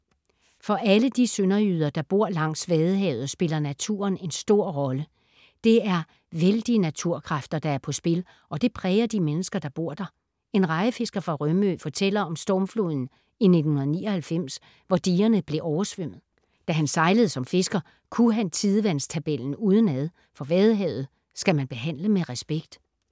For alle de sønderjyder, der bor langs Vadehavet, spiller naturen en stor rolle. Det er vældige naturkræfter, der er på spil og det præger de mennesker, der bor der. En rejefisker fra Rømø fortæller om stormfloden i 1999, hvor digerne blev oversvømmet. Da han sejlede som fisker, kunne han tidevandstabellen udenad, for Vadehavet skal man behandle med respekt.